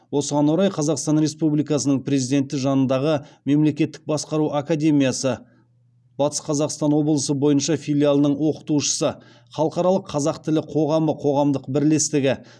осыған орай қазақстан республикасының президенті жанындағы мемлекеттік басқару академиясы батыс қазақстан облысы бойынша филиалының оқытушысы халықаралық қазақ тілі қоғамы қоғамдық бірлестігі